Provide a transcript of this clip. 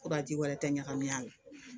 Ko ka ji wɛrɛ tɛ ɲagami a la